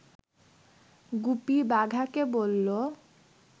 গুপি বাঘাকে বলল